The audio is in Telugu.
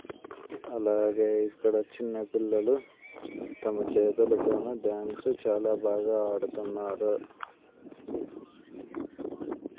అలాగే ఇక్కడ చిన్న పిల్లలు తమ చేతులతోనే డాన్స్ చాలా బాగా ఆడుతున్నారు